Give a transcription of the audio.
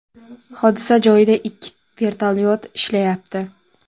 Hodisa joyida ikki vertolyot ishlayapti.